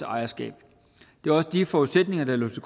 om ejerskab det var også de forudsætninger der lå til